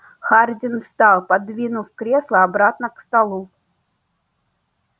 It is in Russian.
хардин встал подвинув кресло обратно к столу